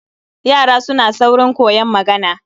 Yara suna saurin koyon magana